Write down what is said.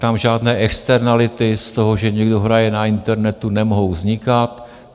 Tam žádné externality z toho, že někdo hraje na internetu, nemohou vznikat.